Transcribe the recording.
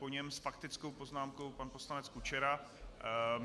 Po něm s faktickou poznámkou pan poslanec Kučera.